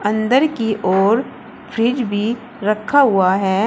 अंदर की ओर फ्रिज भी रखा हुआ है।